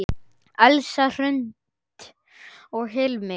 Elsa Hrund og Hilmir.